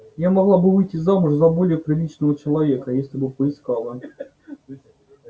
я могла бы выйти замуж за более приличного человека если бы поискала